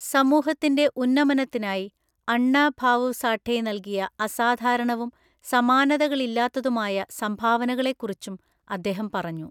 സമൂഹത്തിന്റെ ഉന്നമനത്തിനായി അണ്ണ ഭാവു സാഠെ നൽകിയ അസാധാരണവും സമാനതകളില്ലാത്തതുമായ സംഭാവനകളെക്കുറിച്ചും അദ്ദേഹം പറഞ്ഞു.